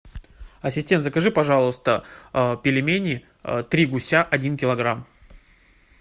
ассистент закажи пожалуйста пельмени три гуся один килограмм